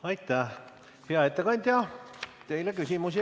Aitäh, hea ettekandja!